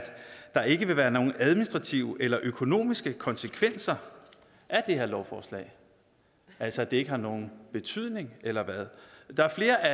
der ikke vil være nogen administrative eller økonomiske konsekvenser af det her lovforslag altså at det ikke har nogen betydning eller hvad der er flere af